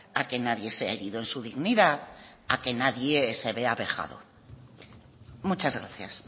a que nadie sea herido en su dignidad a que nadie se vea vejado muchas gracias